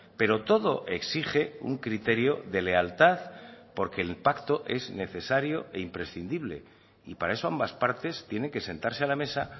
pero todo exige un criterio de lealtad porque el pacto es necesario e imprescindible y para eso ambas partes tienen que sentarse a la mesa